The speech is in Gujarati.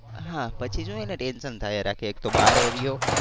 હા પછી શું એને ટેન્શન થયા રાખે એક તો બારે રહ્યો.